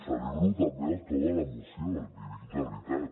celebro també el to de la moció l’hi dic de veritat